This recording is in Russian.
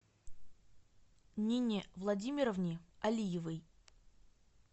нине владимировне алиевой